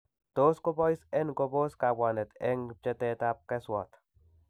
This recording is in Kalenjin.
Tos kobais en kobos kabwanet ak en pchetab keswat.